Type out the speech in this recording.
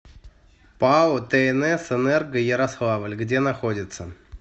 пао тнс энерго ярославль где находится